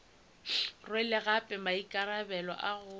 rwele gape maikarabelo a go